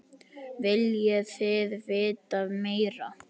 Viljið þið vita meira?